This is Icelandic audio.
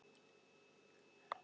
Þetta var alveg spes móment.